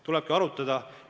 Tulebki arutada.